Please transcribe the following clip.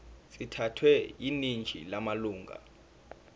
sithathwe yiningi lamalunga